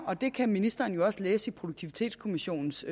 og det kan ministeren jo også læse i produktivitetskommissionens